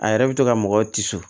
A yɛrɛ bɛ to ka mɔgɔw tiso